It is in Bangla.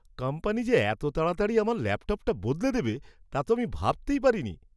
কোম্পানি যে এত তাড়াতাড়ি আমার ল্যাপটপটা বদলে দেবে তা তো আমি ভাবতেই পারিনি!